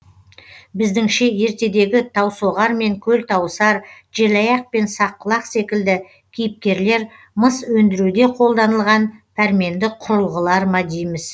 біздіңше ертегідегі таусоғар мен көлтауысар желаяқ пен саққұлақ секілді кейіпкерлер мыс өндіруде қолданылған пәрменді құрылғылар ма дейміз